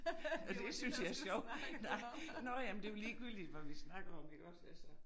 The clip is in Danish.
Det synes jeg er sjov nej nåh ja men det jo ligegyldigt hvad vi snakker om iggås altså